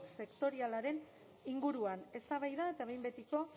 sektorialaren inguruan eztabaida eta behin betiko